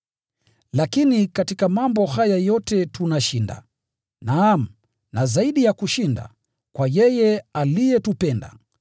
Lakini katika mambo haya yote tunashinda, naam na zaidi ya kushinda, kwa yeye aliyetupenda.